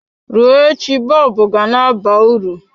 Rụọ echi bọlbụ ga-na aba uru.